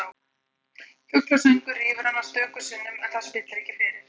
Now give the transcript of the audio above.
Fuglasöngur rýfur hana stöku sinnum en það spillir ekki fyrir.